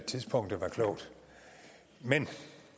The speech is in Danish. tidspunktet var klogt men